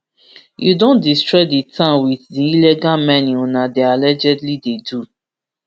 you don destroy di town wit di illegal mining una dey allegedly dey do